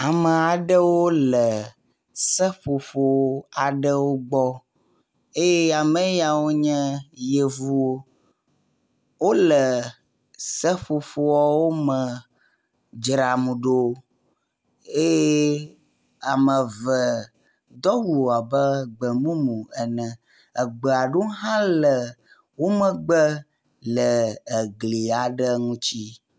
Ame aɖewo le seƒoƒo aɖewo gbɔ eye ame yeawo nye yevuwo. Wole seƒoƒoawo me dzram ɖo eye ame eve do awu abe gbemumu ene. Egbe aɖewo hã le wo megbe le egli aɖe ŋutsi